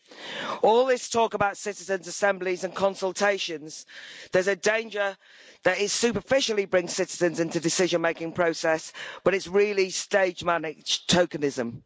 With all this talk about citizens' assemblies and consultations, there's a danger that it is superficially bringing citizens into the decision making process, but is really stage-managed tokenism.